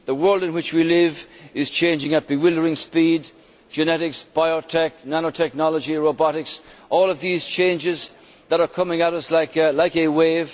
The world in which we live is changing at bewildering speed genetics, biotech, nano technology, robotics, all of these changes that are coming at us like a wave.